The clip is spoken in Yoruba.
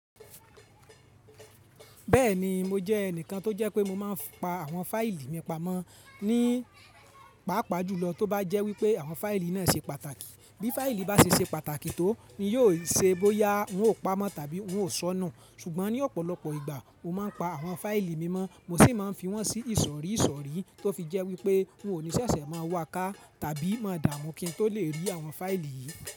Bẹ́ẹ̀ni mo jẹ́ ẹnìkan tó jẹ́ pé mo máa ń pa àwọn fáìlì mi pamọ́ ní pàápàá jùlọ tó bá jẹ́ wípé àwọn fáìlì náà ṣe pàtàkì. Bí fáìlì bá ṣe ṣe pàtàkì tó ni yóò ṣe bóyá n ó pa ámọ́ tàbí n ó sọ́nù. Ṣùgbọ́n ní ọ̀pọ̀lọpọ̀ ìgbà mo máa ń pa àwọn fáìlì mi mọ́, mo sì máa ń fi wọ́n sí ìsọ̀rí ìsọ̀rí tó fi jẹ́ wípé n ò ní ṣẹ̀ṣẹ̀ máa wà ká tàbí máa dààmú kí n tó lè rí àwọn fáìlì yìí.